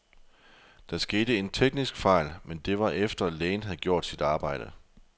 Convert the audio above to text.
Der skete en teknisk fejl, men det var efter, lægen havde gjort sit arbejde.